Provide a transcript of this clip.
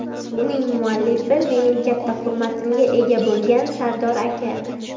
Uning muallifi - mening katta hurmatimga ega bo‘lgan Sardor aka.